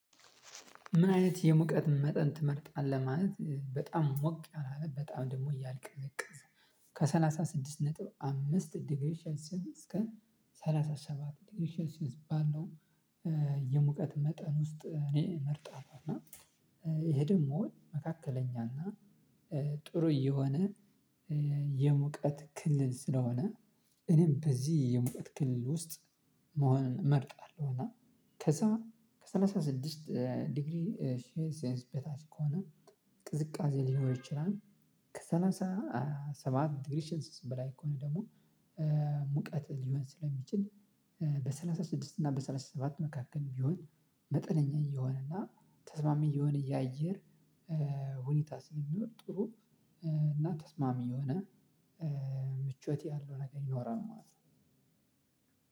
ምን አይነት የሙቀት መጠን ትመርጣለህ? ማለት በጣም ሞቅ ያላለ በጣም ደግሞ እያልቀቀዘ ነጥብ አምስት ዲግሬሽን ስዊስ ከሰላሳ ሰባት ዲግሬሽን ስዊስ ባለው የሙቀት መጠን ውስጥ እኔ መርጣ ነው። እና ይሄ ደግሞ መካከለኛ እና ጥሩ የሆነ የሙቀት ክልል ስለሆነ እኔም በዚህ የሙቀት ክልል ውስጥ መሆንን እመርጣለሁ። እና ከዛ ከሰላሳ ስድስት ዲግሪ ሼንስ ኤንስ ቤታች ከሆነ ቅዝቃዜ ሊኖር ይችላል። ከሰላሳ ሰባት ዲግሪ ሽንስት በላይ ከሆነ ደግሞ ሙቀት ሊሆን ስለሚችል። በሰላሳ ስድስት እና በሰላሳ ሰባት መካከል ቢሆን መጠነኛ እየሆነ እና ተስማሚ እየሆነ የአየር ሁኔታ ስለሚኖር ጥሩ እና ተስማሚ የሆነ ምቾት ያለው ነገር ይኖራል ማለት ነው።